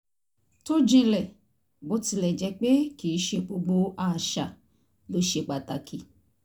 tó jínḷẹ́ bó tilẹ̀ jẹ́ pé kì í ṣe gbogbo àṣà ló ṣe pàtàkì